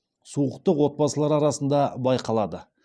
суықтық отбасылар арасында байқалады